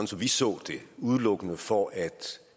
som vi så det udelukkende for at